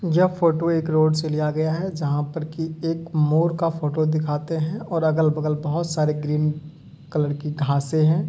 यह फोटो एक रोड से लिया गया है जहाँ पर की एक मोर का फोटो दिखाते हैं और अगल-बगल बहुत सारे ग्रीन कलर की घाँसे हैं।